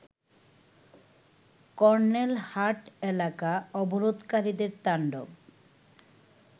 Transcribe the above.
কর্নেলহাট এলাকা অবরোধকারীদের তাণ্ডব